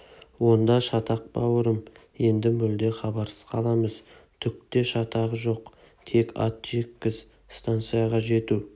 онда шатақ бауырым енді мүлде хабарсыз қаламыз түк те шатағы жоқ тек ат жеккіз станцияға жету